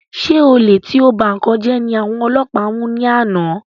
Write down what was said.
Ṣé olè tí o ba nkán jẹ ní àwọn ọlọpa mú ni àná?